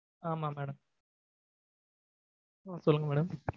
ஆமா madam சொல்லுங்க madam